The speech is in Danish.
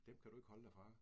Dem kan du ikke holde dig fra?